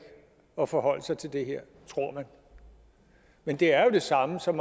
at forholde sig til det her tror man men det er jo det samme som